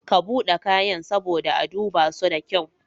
Ka buɗe kayan saboda a dubaso da kyau.